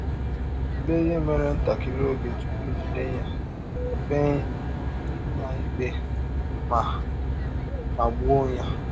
Tụlee ihe mere ntakịrị oge tụpụ e jide ya, kpee ya ikpe, ma, ma gbụọ ya.